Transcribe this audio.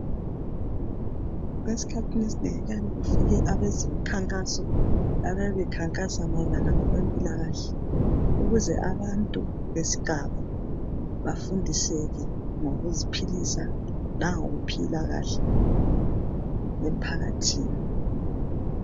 Esikhathini esinengi kuyake kufike abemikhankaso bekhankasa ngokwezempilakahle ukuze abantu besigaba bafundiswe ngokuziphilisa langokuphila kahle emphakathini.